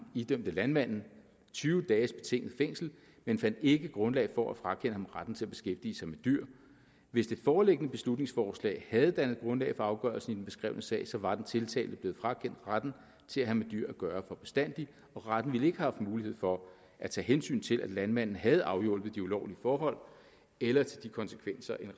idømte landmanden tyve dages betinget fængsel men fandt ikke grundlag for at frakende ham retten til at beskæftige sig med dyr hvis det foreliggende beslutningsforslag havde dannet grundlag for afgørelsen i den beskrevne sag så var den tiltalte blevet frakendt retten til at have med dyr at gøre for bestandig og retten ville ikke have haft mulighed for at tage hensyn til at landmanden havde afhjulpet de ulovlige forhold eller til de konsekvenser en